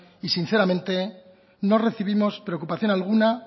y sinceramente no recibimos preocupación alguna